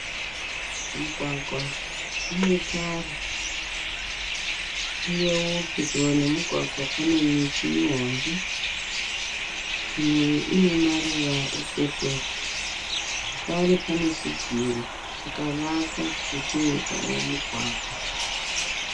Mugwagwa unetara uyewo pedyo nemugwagwa panemiti mihombe imwe ine maruva epepuro zvakare pane chidziro chakavakwa chichitevedzawo mugwagwa.